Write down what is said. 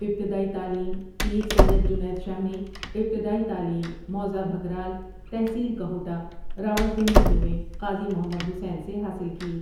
ابتدائی تعلیم پیر سید جنید شاہ ؒ نے ابتدائی تعلیم موضع بھکرال تحصیل کہوٹہ راولپنڈی ہی میں قاضی محمد حسین سے حاصل کی ۔